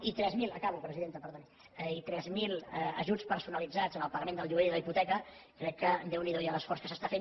i tres mil acabo presidenta perdoni ajuts personalitzats en el pagament del lloguer i de la hipoteca crec que déu n’hi do ja l’esforç que s’està fent